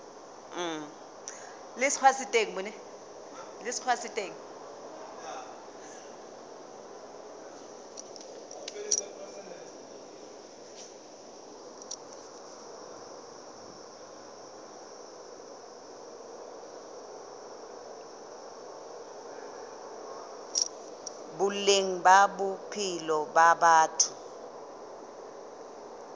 boleng ba bophelo ba batho